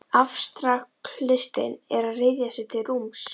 Afstraktlistin er að ryðja sér til rúms.